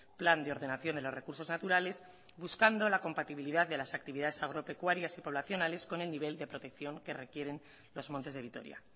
plan de ordenación de los recursos naturales buscando la compatibilidad de las actividades agropecuarias y poblacionales con el nivel de protección que requieren los montes de vitoria